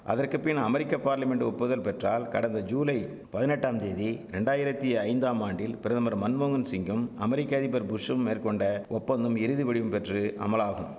அதற்குபின் அமெரிக்க பார்லிமென்ட் ஒப்புதல் பெற்றால் கடந்த ஜூலை பதினெட்டாந்தேதி ரெண்டாயிரத்தி ஐந்தாம் ஆண்டில் பிரதமர் மன்மோகன் சிங்கும் அமெரிக்க அதிபர் புஷ்ஷும் மேற்கொண்ட ஒப்பந்தம் இறுதிவடிவம் பெற்று அமலாகும்